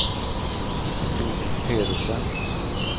Doris Pedersen